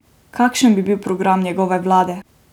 Kakšen bi bil program njegove vlade?